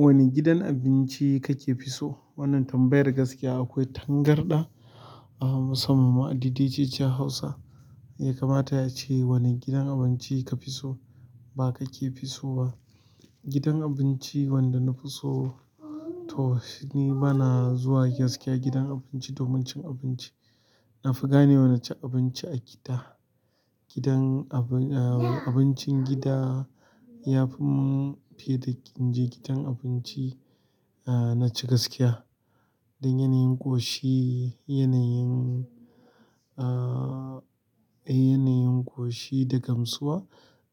Wanne gidan abinci kake fi so wannan tambayar gaskiya akwai tangarɗa anfi samu ma a dcc hausa. Ya kamata yayi ace wane gidan abinci ka fi so, ba ka ke fi so ba. Gidan abinci wanda na fi so, to shi ni bana zuwa gaskiya gidan abinci domin cin abinci. Nafi ganewa naci abinci a gida gidan abu, abincin gida ya fi mun fiye da in je gidan abinci, ah na ci gaskiya. Don yanayin ƙoshi, yanayin, ah, yanayin ƙoshi da gamsuwa